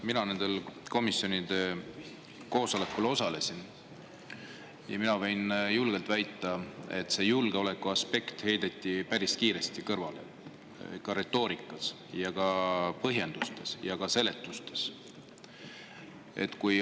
Mina nendel komisjoni koosolekutel osalesin ja võin julgelt väita, et see julgeolekuaspekt heideti päris kiiresti kõrvale, nii retoorikas kui ka põhjendustes ja seletustes.